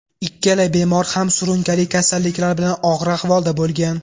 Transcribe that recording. Ikkala bemor ham surunkali kasalliklar bilan og‘ir ahvolda bo‘lgan.